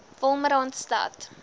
wolmaransstad